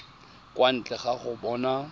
kwa ntle ga go bona